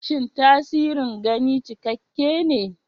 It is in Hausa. Shin tasirin gani cikakke ne?